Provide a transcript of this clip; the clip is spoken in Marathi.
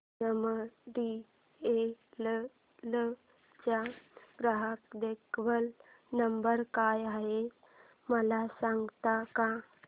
एमटीएनएल चा ग्राहक देखभाल नंबर काय आहे मला सांगता का